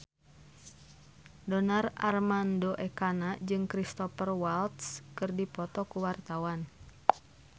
Donar Armando Ekana jeung Cristhoper Waltz keur dipoto ku wartawan